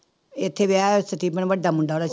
ਇੱਥੇ ਵਿਆਹਿਆ ਹੋਇਆ ਸਟੀਫ਼ਨ ਵੱਡਾ ਮੁੰਡਾ ਉਹਦਾ।